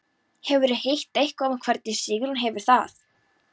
Hefurðu heyrt eitthvað um hvernig Sigrún hefur það?